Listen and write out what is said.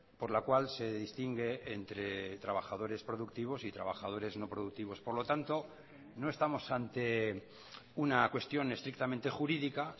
por la cual se distingue entre trabajadores productivos y trabajadores no productivos por lo tanto no estamos ante una cuestión estrictamente jurídica